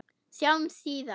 Sjáumst síðar.